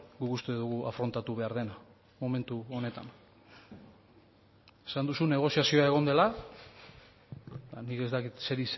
guk uste dugu afrontatu behar dena momentu honetan esan duzu negoziazioa egon dela eta nik ez dakit zeri